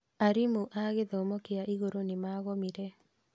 Arimũ a gĩthomo kĩa iguru nĩ magomire